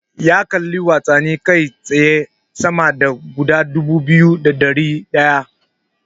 Ya kalli watsani kai tsaye sama da guda dubu biyu da ɗari ɗaya.